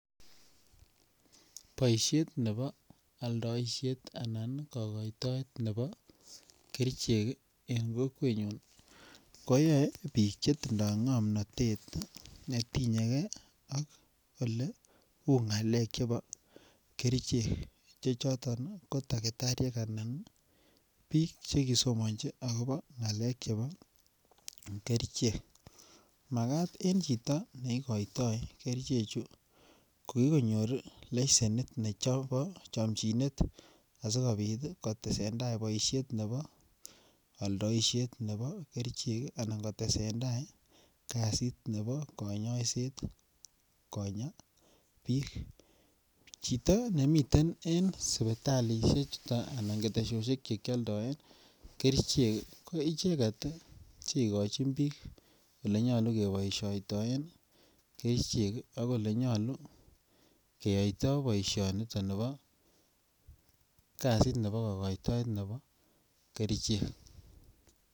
Boisiet nebo aldaisiet anan kogoitoet nebo kerichek eng kokwenyu koyae biik che tindoi komnatet netinyeke ak oleu ngalek chebo kerichek che choton ko takitariek anan biik chekisomonji agobo ngalek chebo kerichek. Magat en chito nekoitoi keriche che ko kikonyor lesienit nebo chomchinet asigopit kotesenda boisiet nebo aldoisiet nebo kerichek anan kotesendai kasit nebo konyoiset konya biik. Chito nemiten en suputalisie chuto anan ketesosiek chekioldo kerichek ko icheget che igochin biik ole nyalu keboisioitoen kerichek ak olenyalu keyoitoi boisionito nebo kasit nebo kokoitoet nebo kerichek.